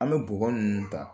An bɛ bɔgɔ ninnu ta